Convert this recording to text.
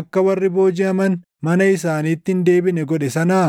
akka warri boojiʼaman mana isaaniitti hin deebine godhe sanaa?”